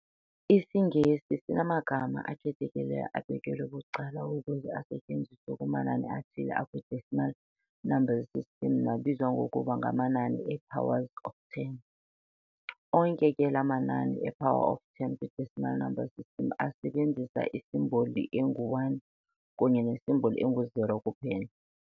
IsiNgesi sinamagama akhethekileyo abekelwe bucala ukuze asetyenziswe kumanani athile akwi-decimal number system nabizwa ngokuba ngamanani e--"powers of ten". onke ke laa manani e-power of ten kwi-decimal number system asebenzisa isimboli engu-"1" kunye nesimboli engu-"0" kuphela.